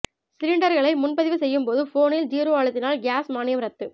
சிலிண்டர்களை முன்பதிவு செய்யும்போது போனில் ஜீரோ அழுத்தினால் கியாஸ் மானியம் ரத்து